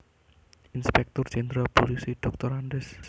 Inspektur Jéndral Pulisi Drs